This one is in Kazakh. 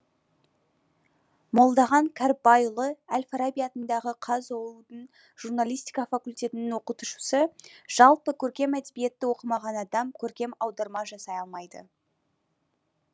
молдахан кәріпбайұлы әл фараби атындағы қазұу дың журналистика факультетінің оқытушысы жалпы көркем әдебиетті оқымаған адам көркем аударма жасай алмайды